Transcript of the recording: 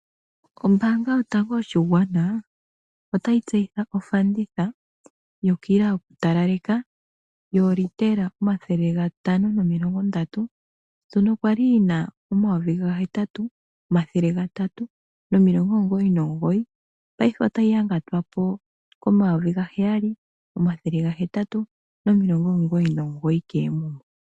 Ombaanga yotango yopashigwana otayi tseyitha ofanditha yokila yokutalaleka yoolitela omathele gatano nomilongo ndatu, ndjono ya li yi na $ 8 399, paife otayi yangatwa po N$ 7 899 koomuma.